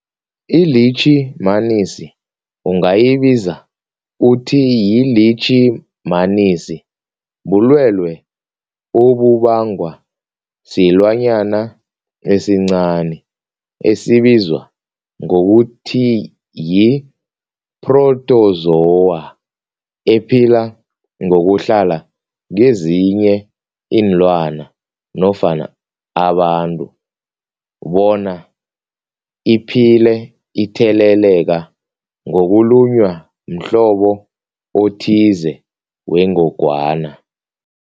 iLitjhimanisi ungayibiza uthiyilitjhimanisi, bulwelwe obubangwa silwanyana esincani esibizwa ngokuthiyi-phrotozowa ephila ngokuhlala kezinye iinlwana nofana abantu bona iphile itheleleka ngokulunywa mhlobo othize wengogwana.